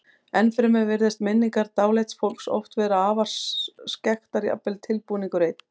Ennfremur virðast minningar dáleidds fólks oft vera afar skekktar, jafnvel tilbúningur einn.